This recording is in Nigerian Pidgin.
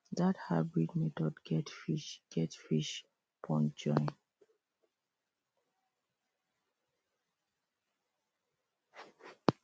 that hybrid method get fish get fish pond join